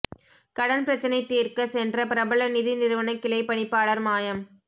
கடன் பிரச்சினை தீர்க்கச் சென்ற பிரபல நிதி நிறுவன கிளை பணிப்பாளர் மாயம்